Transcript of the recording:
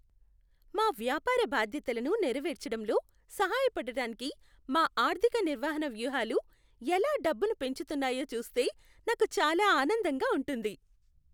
మా వ్యాపార బాధ్యతలను నెరవేర్చడంలో సహాయపడటానికి మా ఆర్థిక నిర్వహణ వ్యూహాలు ఎలా డబ్బును పెంచుతున్నాయో చూస్తే నాకు చాలా ఆనందంగా ఉంటుంది.